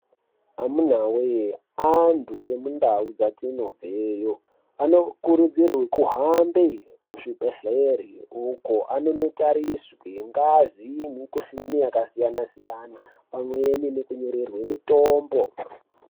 Amunawee antu emundau dzatinobveyo, anokurudzirwe kuhambe kuzvibhedhlere uko anonotariswe ngazi, nemikhuhlani yakasiyana-siyana ,pamweni nekunyorerwe mitombo.